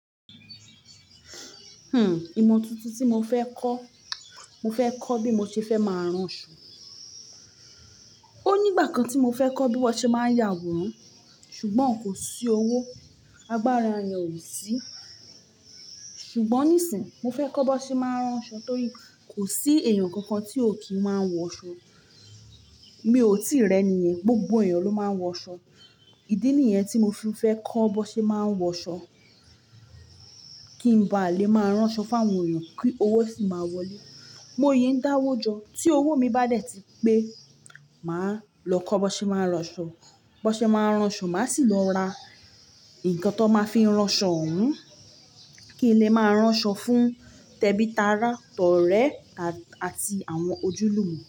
Hmm. Ìmọ̀ tuntun tí mo fẹ́ kọ́, mo fẹ́ kọ́ bí mo ṣe fẹ́ máa rán ṣọ. Ó nígbà kan tí mo fẹ́ kọ́ bí wọ́n ṣe máa ń ya àwòrán ṣùgbọ́n kò sí owó, agbára èèyàn ò sí. Ṣùgbọ́n níìsín, mo fẹ́ kọ́ bó ṣe máa ń rán ṣọ torí kò sí èèyàn kankan tí ò kí ń máa wọ̀ ṣọ. Mi ò tìrẹ nìyẹn, gbogbo èèyàn ló máa ń wọ̀ ṣọ. Ìdí nìyẹn tí mo fi fẹ́ kọ́ bó ṣe máa ń wọ̀ ṣọ kí n ba lè máa rán ṣọ fún àwọn èèyàn kí owó sì máa wọlé. Mo yé ń dáwọ́ jọ, tí owó mi bá dẹ̀ tí pé, màá lọ kọ́ bó ṣe máa ń rán ṣọ, bó ṣe máa ń rán ṣọ, màá sì lọ ra nǹkan tó máa fi rán ṣọ òun kí n lè máa rán ṣọ fún tẹ́bítàrá, tọ̀rẹ́ àti àwọn ojúlùmí.